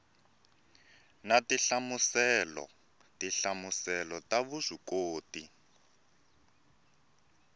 na tinhlamuselo tinhlamuselo ta vuswikoti